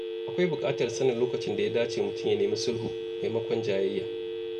Akwai bukatar sanin lokacin da ya dace mutum ya nemi sulhu maimakon jayayya.